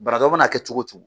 Banabaatɔ mana kɛ cogo o cogo